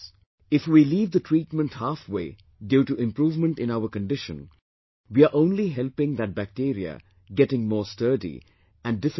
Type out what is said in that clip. If we leave the treatment halfway due to improvement in our condition, we are only helping that bacteria getting more sturdy and difficult to treat